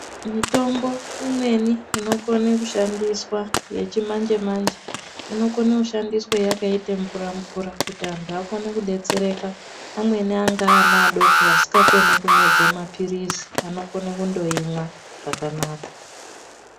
Mitombo imweni inokone kushandiswa yechimanje manje, inokone kushandiswa yakaita mvura mvura kuti vantu vakone kudetsereka amweni anga ana adoko asingakone kumedze maphirisi anokone kundoyimwa zvakanaka.